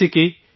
جیسے کہ